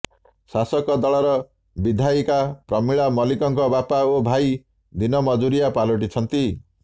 ଶାସକ ଦଳର ବିଧାୟିକା ପ୍ରମିଳା ମଲ୍ଲିକଙ୍କ ବାପା ଓ ଭାଇ ଦିନ ମଜୁରିଆ ପାଲଟିଛନ୍ତି